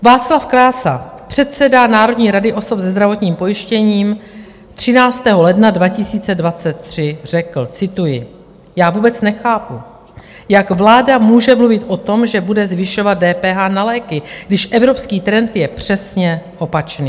Václav Krása, předseda Národní rady osob se zdravotním pojištěním, 13. ledna 2023 řekl, cituji: "Já vůbec nechápu, jak vláda může mluvit o tom, že bude zvyšovat DPH na léky, když evropský trend je přesně opačný."